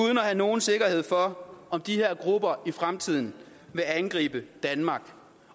have nogen sikkerhed for om de her grupper i fremtiden vil angribe danmark